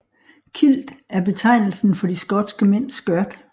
Kilt er betegnelsen for de skotske mænds skørt